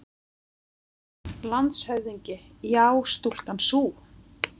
LANDSHÖFÐINGI: Já, stúlkan sú!